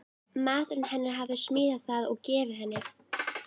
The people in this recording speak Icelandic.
Maðurinn hennar hafði smíðað það og gefið henni.